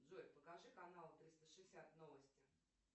джой покажи канал триста шестьдесят новости